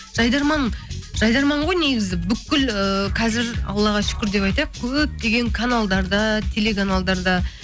жайдарман жайдарман ғой негізі бүкіл ыыы қазір аллаға шүкір деп айтайық көптеген каналдарда телеканалдарда